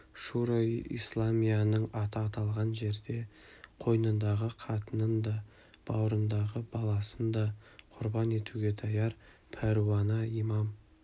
шуро-и-исламияның аты аталған жерде қойныңдағы қатынын да бауырындағы баласын да құрбан етуге даяр пәруана имам